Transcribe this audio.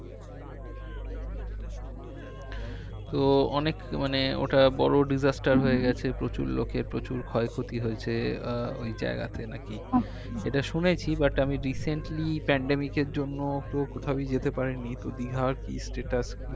তো অনেক মানে ওটা বড়ো disaster হয়ে গেছে প্রচুর লোকের প্রচুর ক্ষয়ক্ষতি হয়ছে আহ ওই জায়গাতে নাকি এটা শুনেছি but আমি recently pandemic এর জন্য তো কোথাওই যেতে পারি নি তো দীঘার কি status